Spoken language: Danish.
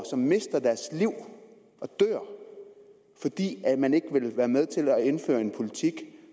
som mister deres liv fordi man ikke vil være med til at indføre en politik